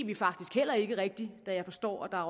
vi faktisk heller ikke rigtig da jeg forstår at der jo